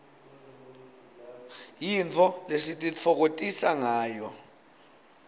yintfo lesititfokotisangayo